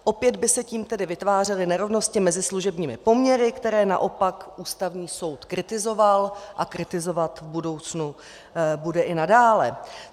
Opět by se tím tedy vytvářely nerovnosti mezi služebními poměry, které naopak Ústavní soud kritizoval a kritizovat v budoucnu bude i nadále.